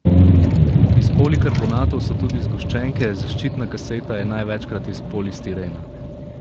Iz polikarbonatov so tudi zgoščenke, zaščitna kaseta je največkrat iz polistirena.